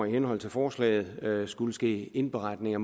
i henhold til forslaget fremover skulle ske indberetninger